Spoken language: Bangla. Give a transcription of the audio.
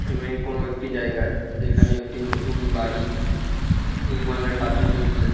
এমনি কোনো একটি জায়গায় যেখানে একটি নতুন বাড়ি নির্মাণের কায্য চলছে।